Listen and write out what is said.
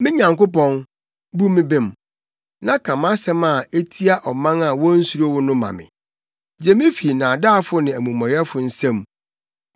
Me Nyankopɔn, bu me bem, na ka mʼasɛm a etia ɔman a wonsuro wo no ma me; gye me fi nnaadaafo ne amumɔyɛfo nsam.